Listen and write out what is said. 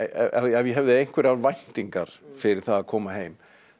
ef ég hefði einhverjar væntingar fyrir það að koma heim